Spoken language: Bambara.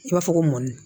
I b'a fɔ ko mɔni